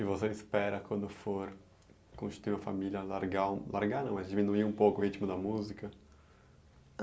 E você espera quando for construir uma família largar, largar não, mas diminuir um pouco o ritmo da música?